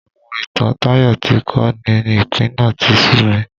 Àwọn ìtàn Tayo tí kò ní ìpín náà tí sú mi